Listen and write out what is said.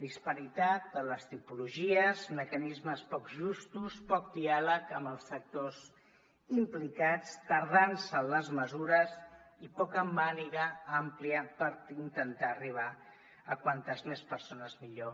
disparitat en les tipologies mecanismes poc justos poc diàleg amb els sectors implicats tardança en les mesures i poca màniga ampla per intentar arribar a com més persones millor